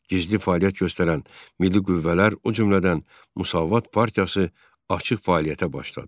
Gizli fəaliyyət göstərən milli qüvvələr, o cümlədən Müsavat partiyası açıq fəaliyyətə başladı.